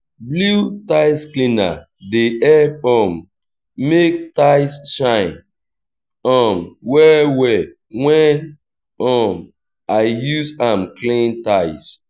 blew tiles cleaner dey help um mek tiles shine um well well when um i use am clean tiles